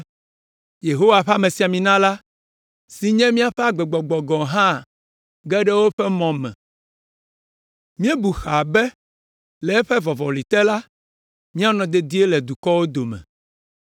Yehowa ƒe amesiamina la, si nye míaƒe agbegbɔgbɔ gɔ̃ hã ge ɖe woƒe mɔ me. Míebu xaa be le eƒe vɔvɔli te la, míanɔ dedie le dukɔwo dome.